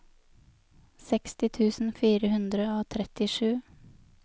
seksti tusen fire hundre og trettisju